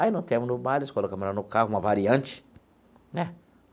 Aí, no colocamos ela no carro, uma variante, né?